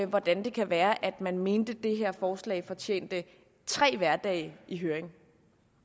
hvordan det kan være at man mente at det her forslag fortjente tre hverdage i høring